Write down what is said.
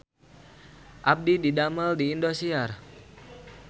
Abdi didamel di Indosiar